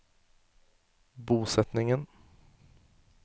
bosetningen